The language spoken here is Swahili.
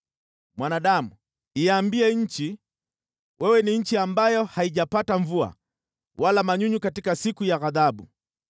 “Mwanadamu, iambie nchi, ‘Wewe ni nchi ambayo haijapata mvua wala manyunyu katika siku ya ghadhabu.’